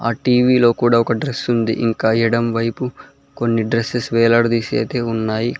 ఆ టీవీ లో కూడా ఒక డ్రస్ ఉంది ఇంకా ఎడం వైపు కొన్ని డ్రెస్సెస్ వేలాడదీసి అయితే ఉన్నాయి.